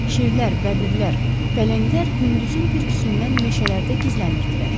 Şirlər, bəbirlər, pələnglər gündüzün bürküsündən meşələrdə gizlənirdilər.